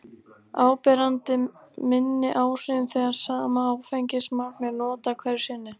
Áberandi minni áhrifum þegar sama áfengismagn er notað hverju sinni.